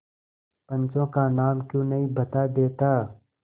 पंचों का नाम क्यों नहीं बता देता